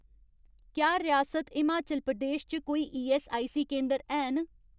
क्या रियासत हिमाचल प्रदेश च कोई ईऐस्सआईसी केंदर हैन